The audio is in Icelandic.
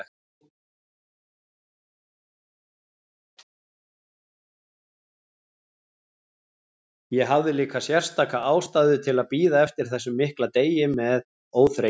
Ég hafði líka sérstaka ástæðu til að bíða eftir þessum mikla degi með óþreyju.